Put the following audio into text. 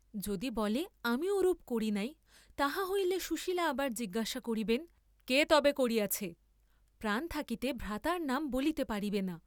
যদি বলে, আমি ওরূপ করি নাই, তাহা হইলে সুশীলা আবার জিজ্ঞাসা করিবেন, কে তবে করিয়াছে, প্রাণ থাকিতে ভ্রাতার নাম বলিতে পারিবে না।